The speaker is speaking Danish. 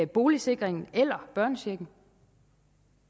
boligsikringen eller børnechecken